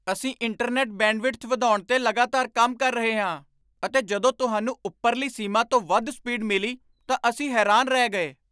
ਅਸੀਂ internet bandwidth ਵਧਾਉਣ 'ਤੇ ਲਗਾਤਾਰ ਕੰਮ ਕਰ ਰਹੇ ਹਾਂ ਅਤੇ ਜਦੋਂ ਤੁਹਾਨੂੰ ਉਪਰਲੀ ਸੀਮਾ ਤੋਂ ਵੱਧ ਸਪੀਡ ਮਿਲੀ ਤਾਂ ਅਸੀਂ ਹੈਰਾਨ ਰਹਿ ਗਏ।